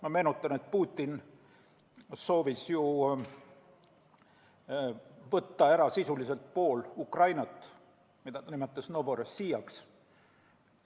Ma meenutan, et Putin soovis ju võtta ära sisuliselt pool Ukrainat, nimetas seda Novorossijaks.